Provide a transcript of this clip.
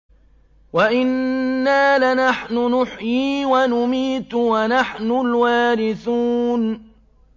وَإِنَّا لَنَحْنُ نُحْيِي وَنُمِيتُ وَنَحْنُ الْوَارِثُونَ